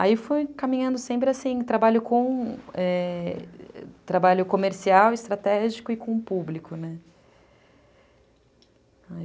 Aí fui caminhando sempre assim, trabalho com...é... Trabalho comercial, estratégico e com o público, né?